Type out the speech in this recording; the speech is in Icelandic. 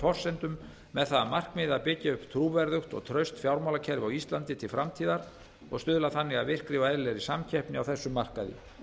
forsendum með það að markmiði að byggja upp trúverðugt og traust fjármálakerfi á íslandi til framtíðar og stuðla þannig að virkri og eðlilegri samkeppni á þessum markaði